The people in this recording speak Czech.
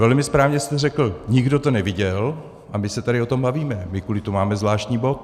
Velmi správně jste řekl - nikdo to neviděl, a my se tady o tom bavíme, my kvůli tomu máme zvláštní bod.